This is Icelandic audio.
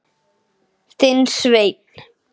Þinn Sveinn.